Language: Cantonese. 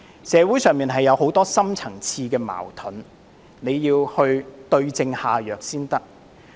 社會上有很多深層次矛盾，必須對症下藥。